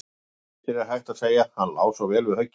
Í bæði skiptin er hægt að segja: Hann lá svo vel við höggi.